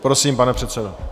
Prosím, pane předsedo.